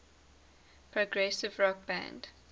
progressive rock band